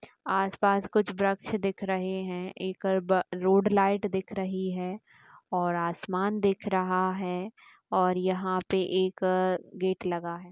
आसपास कुछ वृक्ष दिख रहे हैं| एक रोड लाइट दिख रही है और आसमान दिख रहा है और यहाँ पे एक गेट लगा है।